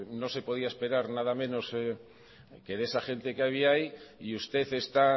no se podía esperar nada menos que de esa gente que había ahí y usted está